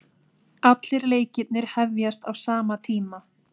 Allir leikirnir hefjast á sama tíma